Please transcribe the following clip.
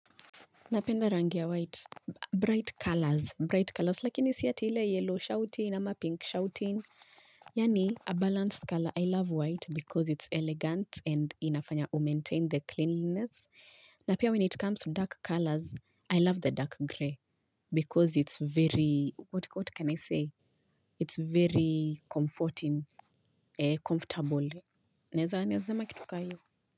Napenda rangi ya white, bright colors, bright colors, lakini si ati ile yellow, shouting, ama pink, shouting Yani, a balanced color. I love white because it's elegant and inafanya umaintain the cleanliness. Na pia when it comes to dark colors, I love the dark gray because it's very, what can I say? It's very comforting, comfortable. Neza, neza makitukayo.